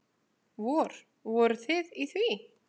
Vor, voruð þið í því?